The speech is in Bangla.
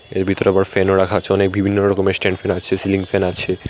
এর ভিতরে আবার ফ্যানও রাখা আছে অনেক বিভিন্ন রকমের স্ট্যান্ড ফ্যান আছে সিলিং ফ্যান আছে।